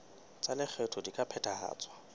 tsa lekgetho di ka phethahatswa